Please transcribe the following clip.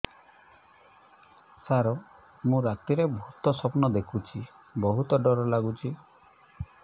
ସାର ମୁ ରାତିରେ ଭୁତ ସ୍ୱପ୍ନ ଦେଖୁଚି ବହୁତ ଡର ଲାଗୁଚି